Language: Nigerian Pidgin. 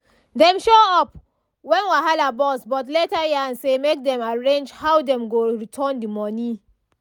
dem show up when wahala burst but later yarn say make dem arrange how dem go return the money